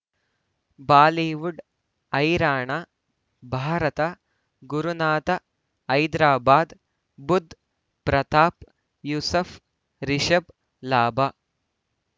Bollywood ಹೈರಾಣ ಭಾರತ ಗುರುನಾಥ ಹೈದರಾಬಾದ್ ಬುಧ್ ಪ್ರತಾಪ್ ಯೂಸುಫ್ ರಿಷಬ್ ಲಾಭ